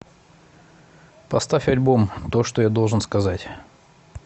поставь альбом то что я должен сказать